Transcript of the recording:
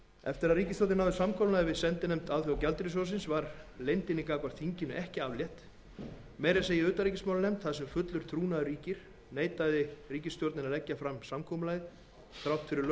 eftir að ríkisstjórnin náði samkomulagi við sendinefnd alþjóðagjaldeyrissjóðsins var leyndinni gagnvart þinginu ekki aflétt meira að segja í utanríkismálanefnd þar sem fullur trúnaður ríkir neitaði ríkisstjórnin að leggja fram samkomulagið þrátt fyrir